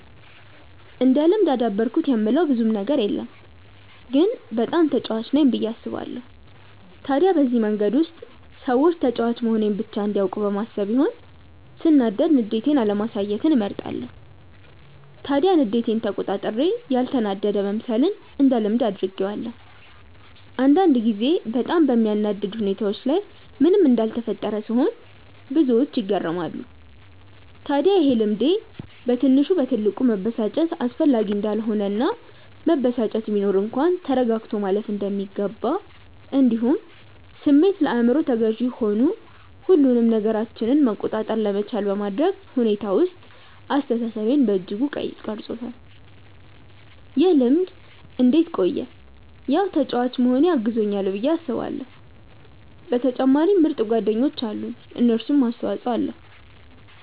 እንደ ልምድ አዳበርኩት የምለው ብዙም ነገር የለም ግን በጣም ተጫዋች ነኝ ብዬ አስባለው። ታዲያ በዚህ መንገድ ውስጥ ሰዎች ተጫዋች መሆኔን ብቻ እንዲያውቁ በማሰብ ይሆን ሰናዳድ ንዴቴን አለማሳየትን እመርጣለው። ታዲያ ንዴቴን ተቆጣጥሬ ያልተናደደ መምሰልን እንደ ልምድ አድርጌዋለው። አንዳንድ ጊዜ በጣም በሚያናድድ ሁኔታዎች ላይ ምንም እንዳልተፈጠረ ስሆን ብዙዎች ይገረማሉ። ታድያ ይሄ ልምዴ በትንሽ በትልቁ መበሳጨት አስፈላጊ እንዳልሆነ እና መበሳጨት ቢኖር እንኳን ተረጋግቶ ማለፍ እንደሚገባ እንዲሁም ስሜት ለአይምሮ ተገዢ ሆኑ ሁሉንም ነገራችንን መቆጣጠር ለመቻል በማድረግ ሁኔታ ውስጥ አስተሳሰቤን በእጅጉ ቀርፆታል። ይህ ልምድ እንዴት ቆየ ያው ተጫዋች መሆኔ አግዞኛል ብዬ አስባለው በተጨማሪም ምርጥ ጓደኞች አሉኝ የነሱም አስተፆይ ኣለዉ።